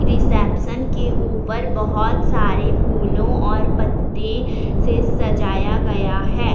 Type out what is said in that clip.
Reception के ऊपर बहोत सारे फूलों और पत्ते से सजाया गया है।